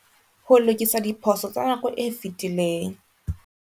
Ho lokisa diphoso tsa nako e fetileng.